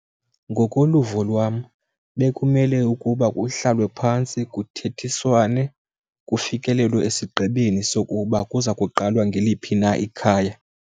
Ngokoluvo lwam bekumele ukuba kuhlalwe phantsi kuthethiswane kufikelelwe esigqibeni sokuba kuza kuqalwa ngeliphi na ikhaya.